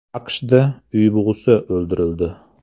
AQShda uy bug‘usi o‘ldirildi.